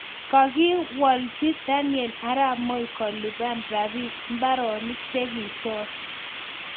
Kakilwchi Daniel arap Moi kolipan mbaronik chegichor